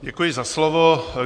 Děkuji za slovo.